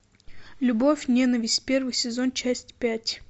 любовь ненависть первый сезон часть пять